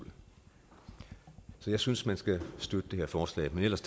jeg synes man skal støtte det her forslag men ellers